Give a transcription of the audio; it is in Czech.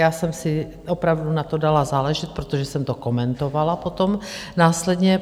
Já jsem si opravdu na to dala záležet, protože jsem to komentovala potom následně.